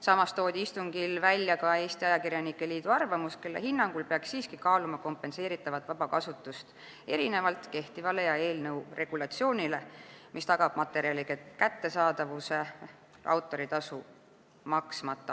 Samas toodi istungil välja ka Eesti Ajakirjanike Liidu arvamus, kelle hinnangul peaks siiski kaaluma kompenseeritavat vabakasutust erinevalt kehtivast korrast ja eelnõu regulatsioonist, mis tagab materjalide kättesaadavuse autoritasu maksmata.